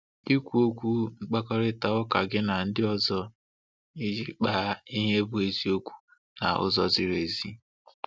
Ikwu okwu - Ịkparịta ụka gị na ndị ọzọ iji kpaa ihe bụ eziokwu n'ụzọ dị irè.